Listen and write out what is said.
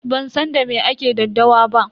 Ban san da me ake daddawa ba.